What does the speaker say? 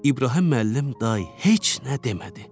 İbrahim müəllim tay heç nə demədi.